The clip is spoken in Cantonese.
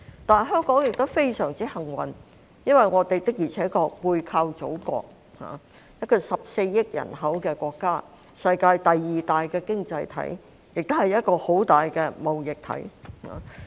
但是，香港亦非常幸運，因為我們的確背靠祖國，一個有14億人口的國家、世界第二大經濟體，也是一個很大的貿易體。